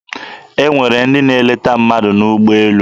E nwere ndị na-eleta ndị mmadụ n'ụgbọelu.